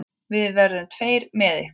Við verðum tveir með ykkur.